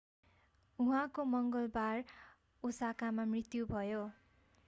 उहाँको मङ्गलबार ओसाकामा मृत्यु भयो